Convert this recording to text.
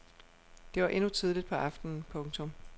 Det var endnu tidligt på aftenen. punktum